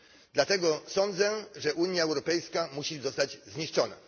Dlatego sądzę, że Unia Europejska musi zostać zniszczona.